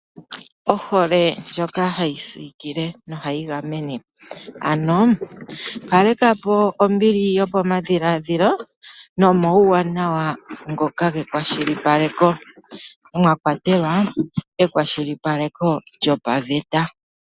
Ohole ndjoka ohayi siikile nohayi gamene. Ano kaleka po ombili yopamadhiladhilo nomauwanawa ngoka gekwashilipaleko. Mwa kwatelwa ekwashilipaleko lyopaveta.